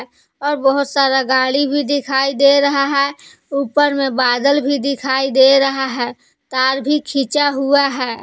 और बहोत सारा गाड़ी भी दिखाई दे रहा है ऊपर में बादल भी दिखाई दे रहा है तार भी खींचा हुआ है।